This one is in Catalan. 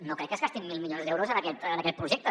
no crec que es gastin mil milions d’euros en aquest projecte